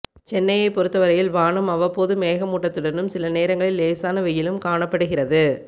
சென்னையை பொறுத்தவரையில் வானம் அவ்வப்போது மேகமூட்டத்துடனும் சில நேரங்களில் லேசான வெயிலும் காணப்படுகிறது